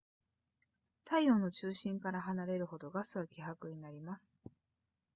太陽の中心から離れるほどガスは希薄になります